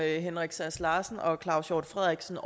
henrik sass larsen og claus hjort frederiksen